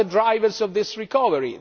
What are the drivers of this recovery?